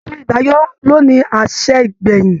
Ètò ìdájọ́ ló ní àṣẹ ìgbẹ̀yìn